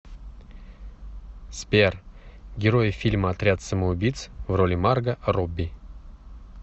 сбер герои фильма отряд самоубииц в роли марго робби